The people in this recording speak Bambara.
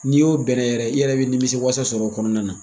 N'i y'o bɛnɛ yɛrɛ ye, i yɛrɛ bɛ nimisi wasa sɔrɔ o kɔnɔna na.